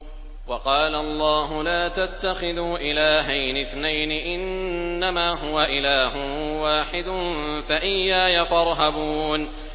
۞ وَقَالَ اللَّهُ لَا تَتَّخِذُوا إِلَٰهَيْنِ اثْنَيْنِ ۖ إِنَّمَا هُوَ إِلَٰهٌ وَاحِدٌ ۖ فَإِيَّايَ فَارْهَبُونِ